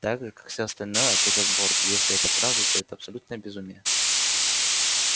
так же как всё остальное ответил борт если это правда то это абсолютное безумие